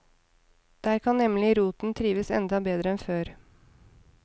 Der kan nemlig roten trives enda bedre enn før.